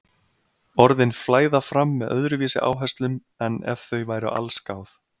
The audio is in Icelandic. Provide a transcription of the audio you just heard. Orðin flæða fram með öðruvísi áherslum en ef þau væru allsgáð.